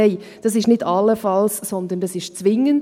Nein, das ist nicht «allenfalls», sondern das ist .